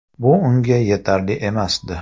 Bu unga yetarli emasdi.